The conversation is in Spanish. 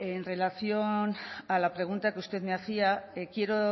en relación a la pregunta que usted me hacía quiero